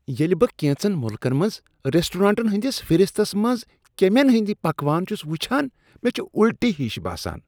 ییٚلہ بہٕ کینژن ملکن منٛز ریسٹورینٹن ہنٛدس فہرستس منٛز کیٚمین ہٕندۍ پکوان چھس وٕچھنان، مےٚ چھ الٹی ہش باسان۔